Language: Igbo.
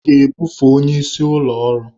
A ga-ebufe onye isi ụlọ ọrụ.